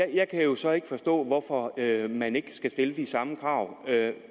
jeg kan jo så ikke forstå hvorfor man ikke skal stille de samme krav